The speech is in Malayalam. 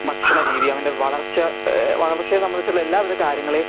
ഭക്ഷണ രീതി അവന്റെ വളർച്ച എഹ് വളർച്ചയെ സംബന്ധിച്ച് ഉള്ള എല്ലാ വിത കാര്യങ്കലേം